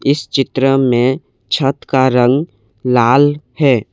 इस चित्र में छत का रंग लाल है।